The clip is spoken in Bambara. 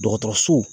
Dɔgɔtɔrɔso